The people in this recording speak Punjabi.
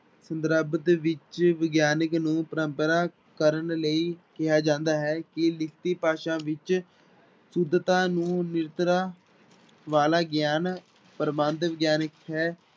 ਸੰਦਰਭ ਵਿੱਚ ਵਿਗਿਆਨਕ ਨੂੰ ਪਰੰਪਰਾ ਕਰਨ ਲਈ ਕਿਹਾ ਜਾਂਦਾ ਹੈ ਕਿ ਲਿਖਤੀ ਭਾਸ਼ਾ ਵਿੱਚ ਸੁੱਧਤਾ ਨੂੰ ਵਾਲਾ ਗਿਆਨ ਪ੍ਰਬੰਧ ਵਿਗਿਆਨਕ ਹੈ।